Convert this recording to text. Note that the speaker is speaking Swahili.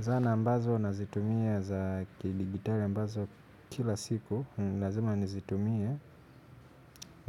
Zana ambazo nazitumia za kidigitali ambazo kila siku lazima nizitumie.